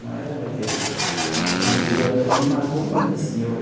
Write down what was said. Não era daquele... Então, aquilo aquilo me marcou muito, assim eu eu.